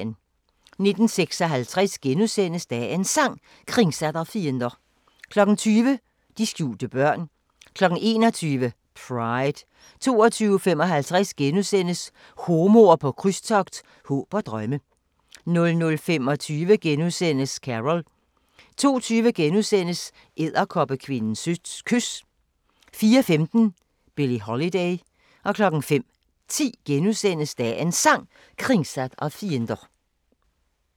19:56: Dagens Sang: Kringsatt av fiender * 20:00: De skjulte børn 21:00: Pride 22:55: Homoer på krydstogt – håb og drømme * 00:25: Carol * 02:20: Edderkoppekvindens kys * 04:15: Billie Holiday 05:10: Dagens Sang: Kringsatt av fiender *